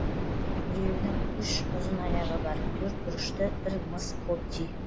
біреуінің үш ұзын аяғы бар төрт бұрышты бір мыс қобди